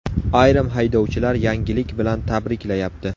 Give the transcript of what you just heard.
Ayrim haydovchilar yangilik bilan tabriklayapti.